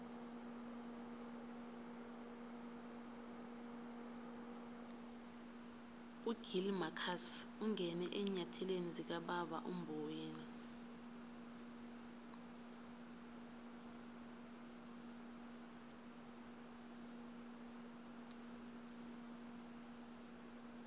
ugill marcus ungene eenyathelweni zikababa umboweni